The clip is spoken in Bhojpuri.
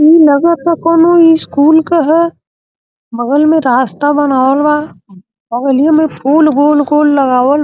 ई लगता काऊनो इस्कुल के ह। बगल में रास्ता बनावल बा। बगलियो में फूल गूल कुल लगावल --